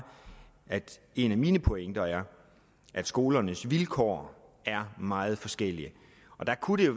at en af mine pointer er at skolernes vilkår er meget forskellige og der kunne det